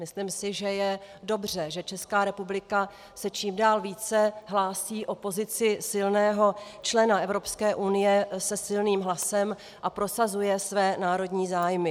Myslím si, že je dobře, že Česká republika se čím dál více hlásí o pozici silného člena Evropské unie se silným hlasem a prosazuje své národní zájmy.